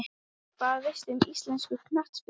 Hvað veistu um íslenska knattspyrnu?